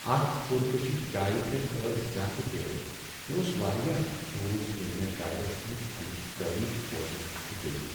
اتھ پُر کشش جایہ پٮ۪ٹھ ٲس زیٛادٕ برٕ، مےٚ اوس واریاہ افسوٗس ییٚلہ مےٚ گایڈس نش امچ تٲریخ بوزٕنی اتھٕ گٔیہ۔